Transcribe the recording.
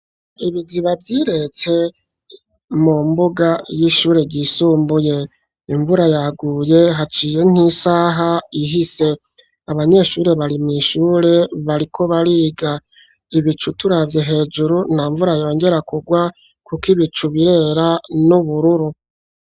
Ibiziba byiretse mu mbuga y'ishure y'isumbuye imvura yaguye haciye nk'isaha ihise abanyeshuri bari mu ishure bariko bariga ibicu turavye hejuru nta mvura yongera kugwa kuko ibicu birera n'ubururu.